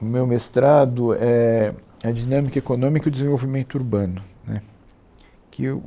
O meu mestrado éh é Dinâmica Econômica e Desenvolvimento Urbano né que